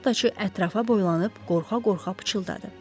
Şaxtaçı ətrafa boylanıb qorxa-qorxa pıçıldadı.